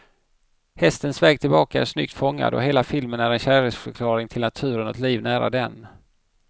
Hästens väg tillbaka är snyggt fångad, och hela filmen är en kärleksförklaring till naturen och ett liv nära den.